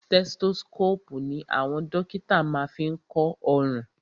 Stethoscopu ní àwọn dókítà má ń fí kọ ọrùn.